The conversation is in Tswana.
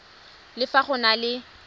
le fa go na le